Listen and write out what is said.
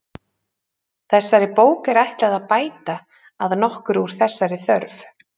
Þessari bók er ætlað að bæta að nokkru úr þessari þörf.